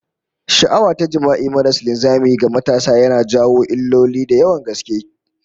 Sha'awa ta jima'i maras linzami ga matasa yana jawo illoli da yawan gaske